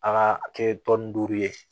A ka kɛ tɔn ni duuru ye